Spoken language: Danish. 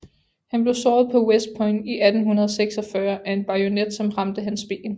Han blev såret på West Point i 1846 af en bajonet som ramte hans ben